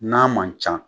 N'a man ca